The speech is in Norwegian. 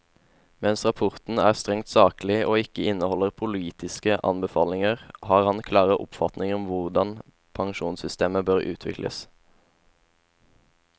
Mens rapporten er strengt saklig og ikke inneholder politiske anbefalinger, har han klare oppfatninger om hvordan pensjonssystemer bør utvikles.